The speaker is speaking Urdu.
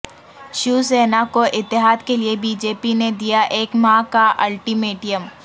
شیوسینا کو اتحاد کیلئے بی جے پی نے دیا ایک ماہ کا الٹی میٹم